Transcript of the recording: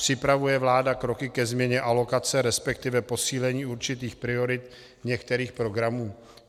Připravuje vláda kroky ke změně alokace, respektive posílení určitých priorit některých programů?